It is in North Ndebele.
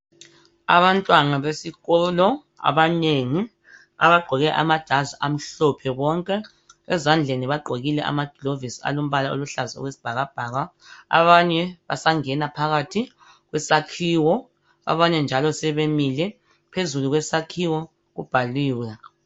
Amabantwana besikolo abanengi abangqoke amajazi amhlophe bonke ezandleni bagqokile amaglovisi alombala owesibhakabhaka abanye basangena phakathi kusakhiwo abanye njalo semile phezulu kwesakhiwo kubhaliwe